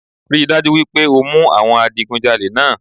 Rí i dájú wípé o mú àwọn adigunjalé náà